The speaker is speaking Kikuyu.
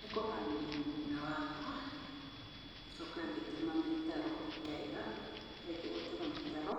Nĩ kũharĩrĩa mũgunda wakwa, ngĩcoka ngĩtema mĩtaro wega ndarĩkĩa gũtema mĩtaro